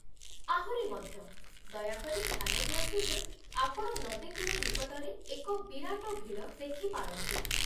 ଆହୁରି ମଧ୍ୟ, ଦୟାକରି ଧ୍ୟାନ ଦିଅନ୍ତୁ ଯେ ଆପଣ ନଦୀ କୂଳ ନିକଟରେ ଏକ ବିରାଟ ଭିଡ଼ ଦେଖିପାରନ୍ତି।